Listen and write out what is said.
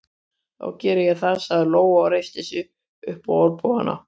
Þá geri ég það, sagði Lóa og reisti sig upp á olnbogana.